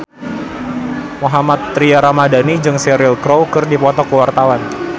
Mohammad Tria Ramadhani jeung Cheryl Crow keur dipoto ku wartawan